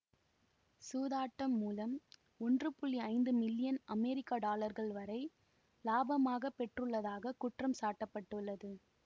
சூதாட்டம் மூலம் ஒன்று ஐந்து மில்லியன் அமெரிக்க டாலர்கள் வரை இலாபமாகப் பெறப்பட்டுள்ளதாகக் குற்றம் சாட்ட பட்டுள்ளது